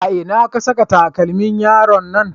A ina ka saka takalmin yaron nan?